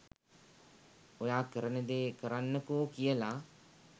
ඔයා කරන දේ කරන්නකෝ කියලා